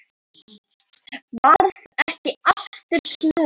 Varð ekki aftur snúið.